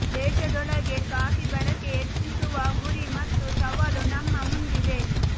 ದೇಶದೊಳಗೆ ಕಾಫಿ ಬಳಕೆ ಹೆಚ್ಚಿಸುವ ಗುರಿ ಮತ್ತು ಸವಾಲು ನಮ್ಮ ಮುಂದಿದೆ